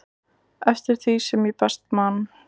eftir því sem ég best man.